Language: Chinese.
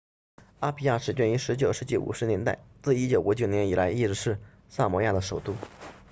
阿皮亚始建于19世纪50年代自1959年以来一直是萨摩亚的首都